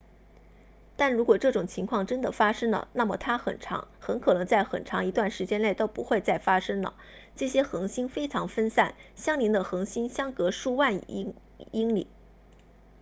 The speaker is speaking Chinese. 但如果这种情况真的发生了那么它很可能在很长一段时间内都不会再发生了这些恒星非常分散相邻的恒星相隔数万亿英里